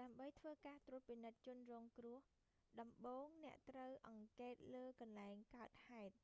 ដើម្បីធ្វើការត្រួតពិនិត្យជនរងគ្រោះ ដំបូងអ្នកត្រូវអង្កេតលើកន្លែងកើតហេតុ